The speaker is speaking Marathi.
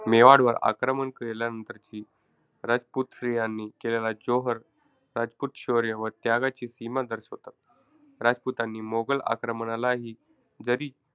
मेवाडवर आक्रमण केल्यानंतरची राजपूत स्त्रियांनी केलेला जोहर रजपूत शौर्य व त्यागाची सीमा दर्शवतात. राजपुतांनी मोगल आक्रमणालाही जरी,